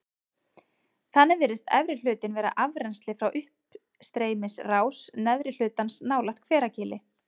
Þannig virðist efri hlutinn vera afrennsli frá uppstreymisrás neðri hlutans nálægt Hveragili.